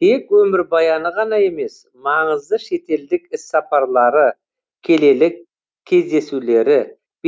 тек өмірбаяны ғана емес маңызды шетелдік іссапарлары келелі кездесулері